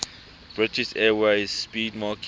british airways 'speedmarque